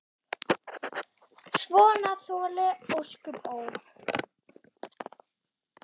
Svona þoli ósköp, ó!